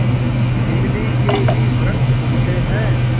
इमली के ही वृक्ष उगते हैं